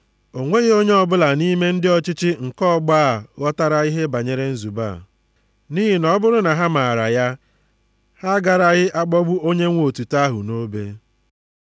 O nweghị onye ọbụla nʼime ndị ọchịchị nke ọgbọ a ghọtara ihe banyere nzube a. Nʼihi na ọ bụrụ na ha maara ya, ha agaraghị akpọgbu Onyenwe otuto ahụ nʼobe.